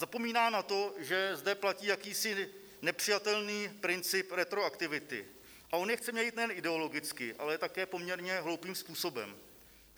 Zapomíná na to, že zde platí jakýsi nepřijatelný princip retroaktivity, a on je chce měnit nejen ideologicky, ale také poměrně hloupým způsobem.